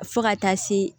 Fo ka taa se